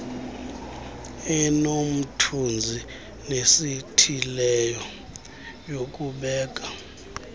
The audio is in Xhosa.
enomthunzi nesithileyo yokubeka